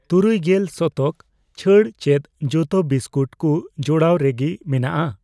ᱛᱩᱨᱩᱭᱜᱮᱞ ᱥᱚᱛᱚᱠ ᱪᱷᱟᱹᱲ ᱪᱮᱫ ᱡᱚᱛᱚ ᱵᱤᱥᱠᱩᱴ ᱠᱩ ᱡᱩᱲᱟᱹᱣ ᱨᱮ ᱜᱤ ᱢᱮᱱᱟᱜᱼᱟ ?